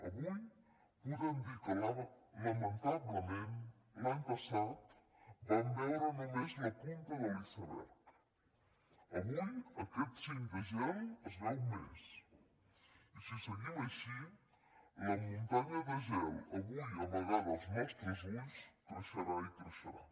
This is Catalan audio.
avui podem dir que lamentablement l’any passat vam veure només la punta de l’iceberg avui aquest cim de gel es veu més i si seguim així la muntanya de gel avui amagada als nostres ulls creixerà i creixerà